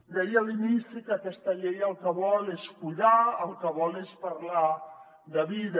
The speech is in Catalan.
deia a l’inici que aquesta llei el que vol és cuidar el que vol és parlar de vida